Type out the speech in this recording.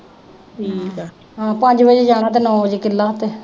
ਹਮ ਪੰਜ ਵਜੇ ਜਾਣਾ ਤਾਂ ਨੌਂ ਵਜੇ